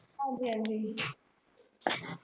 ਹਾਂਜੀ ਹਾਂਜੀ